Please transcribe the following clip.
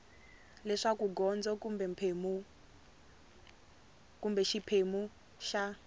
leswaku gondzo kumbe xiphemu xa